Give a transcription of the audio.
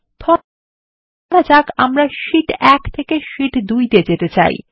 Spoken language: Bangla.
ধরা যাক আমরা শীট 1 থেকে শীট 2 তে যেতে চাই